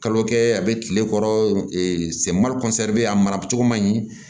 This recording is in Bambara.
Kalo kɛ a bɛ kile kɔrɔ bɛ ye a mara cogo man ɲi